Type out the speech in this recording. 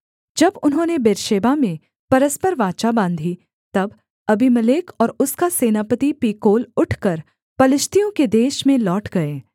जब उन्होंने बेर्शेबा में परस्पर वाचा बाँधी तब अबीमेलेक और उसका सेनापति पीकोल उठकर पलिश्तियों के देश में लौट गए